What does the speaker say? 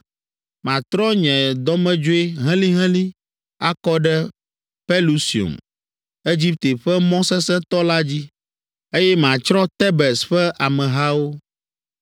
Matrɔ nye dɔmedzoe helĩhelĩ akɔ ɖe Pelusium, Egipte ƒe mɔ sesẽtɔ la dzi, eye matsrɔ̃ Tebes ƒe amehawo.